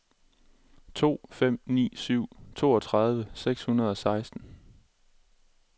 to fem ni syv toogtredive seks hundrede og seksten